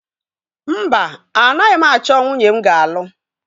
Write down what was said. Mba, anaghị m achọ nwunye m ga-alụ.